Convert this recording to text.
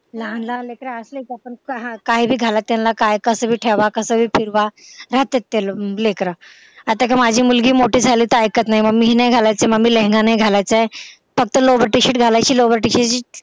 लहान लाहान लेकरं असले का काय भी घालत्यात त्यांना कस भी कपडे घाला कस भी ठेवा राहत्यात ते लेकरं आता माझी मुलगी मोठी झाली कि ते काय ऐकत नाय मम्मी हे नाय घालायचय मम्मी लेहंगा नाही घालायचं फक्त lowert shirt घालायचंय lowert shirt